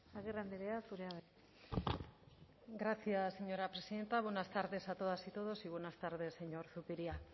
agirre andrea zurea da hitza gracias señora presidenta buenas tardes a todas y todos y buenas tardes señor zupiria